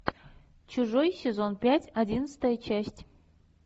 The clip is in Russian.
чужой сезон пять одиннадцатая часть